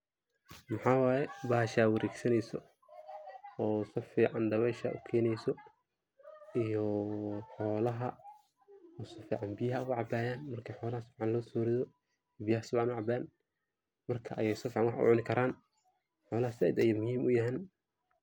maxawaye bahasha wareegsaneyso oo siu fican dabeesha u keeneyso iyoo xolaha oo si fican biyaha oga cabayan, marka xolaha si fican looso rido, biyaha su fican u cabaan marka ayay si fican wax u cuni karan.,Xolaha zaaid bay muhiim uyahan